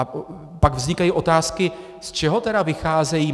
A pak vznikají otázky - z čeho tedy vycházejí?